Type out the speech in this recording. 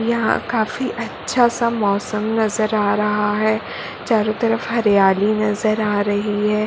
यहां काफी अच्छा सा मौसम नज़र आ रहा हैं। चारों तरफ हरियाली नज़र आ रही हैं।